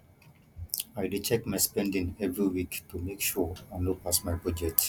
i dey check my spending every week to make sure i no pass my budget